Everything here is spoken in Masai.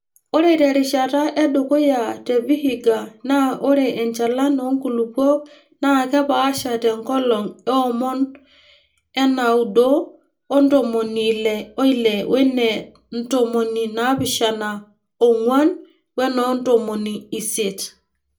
Ore te rishata edukuya te Vihiga naa ore enchalan oonkulupuok naa kepaasha te nkolong eonom onaaudo o ntomoni Ile oile wene ntomoni naapishana oong'wan wenoo ntomoni isiet.